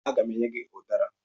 Aga m enye gị ụdara.